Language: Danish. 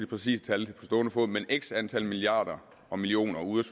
præcise tal x antal milliarder og millioner ude